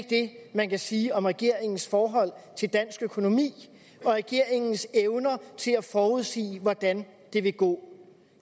det man kan sige om regeringens forhold til dansk økonomi og regeringens evner til at forudsige hvordan det vil gå